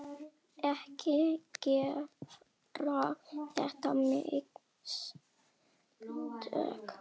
Ekki gera þessi mistök.